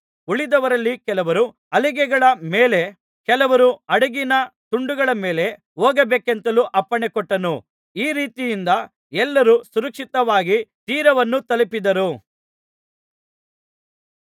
ಉಳಿದವರಲ್ಲಿ ಕೆಲವರು ಹಲಿಗೆಗಳ ಮೇಲೆ ಕೆಲವರು ಹಡಗಿನ ತುಂಡುಗಳ ಮೇಲೆ ಹೋಗಬೇಕೆಂತಲೂ ಅಪ್ಪಣೆಕೊಟ್ಟನು ಈ ರೀತಿಯಿಂದ ಎಲ್ಲರೂ ಸುರಕ್ಷಿತವಾಗಿ ತೀರವನ್ನು ತಲುಪಿದರು